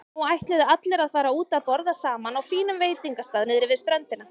Nú ætluðu allir að fara út að borða saman á fínum veitingastað niðri við ströndina.